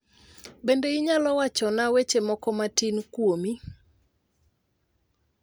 Bende inyalo wachona weche moko matin kuomi